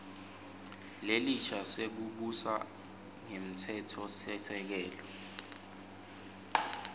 lesisha sekubusa ngemtsetfosisekelo